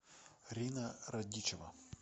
рина радичева